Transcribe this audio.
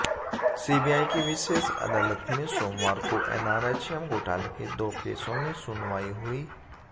CBI की विशेष अदालत में सोमवार को एनआरएचएम घोटाले के दो केसों में सुनवाई हुई